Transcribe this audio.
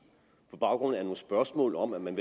på baggrund af nogle spørgsmål om at man